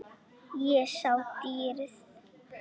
Ég sá dýrið.